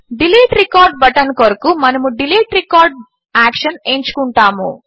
delete record button కొరకు మనము delete record action ఎంచుకుంటాము